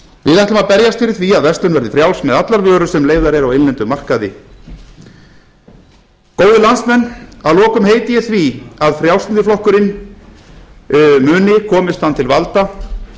við ætlum að berjast fyrir því að verslun verði frjáls með allar vörur sem leyfðar eru á innlendum markaði góðir landsmenn að lokum heiti ég því að frjálslyndi flokkurinn muni komist hann til valda